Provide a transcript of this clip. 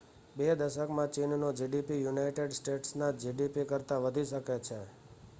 બે દશકમાં ચીનનો gdp યુનાઇટેડ સ્ટેટ્સના gdp કરતાં વધી શકે છે